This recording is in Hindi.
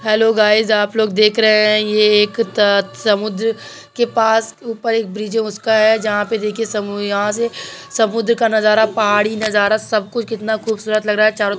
हेल्लो गाइस आप लोग देख रहे हैं ये एक त समुन्द्र के पास ऊपर एक ब्रिज है जहाँ पे देखिये समु यहाँ से समुन्द्र नजारा पहाड़ी नजारा सब कुछ कितना खूबसूरत लग रहा है तारों तरफ --